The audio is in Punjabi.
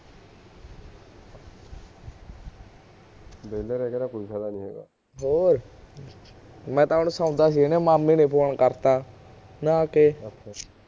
ਹੋਰ ਮੈਂ ਤਾਂ ਹੁਣ ਸੌਂਦਾ ਸੀ ਮਾਮੇ ਨੇ ਫ਼ੋਨ ਕਰਤਾ ਨਹਾ ਕੇ